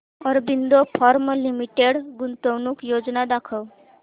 Aurobindo pharma limited गुंतवणूक योजना दाखव